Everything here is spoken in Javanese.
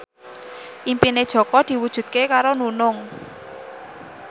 impine Jaka diwujudke karo Nunung